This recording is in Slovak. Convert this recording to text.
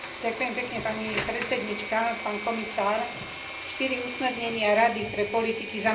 Štyri usmernenia Rady pre politiky zamestnanosti by mali zostať v platnosti aj v roku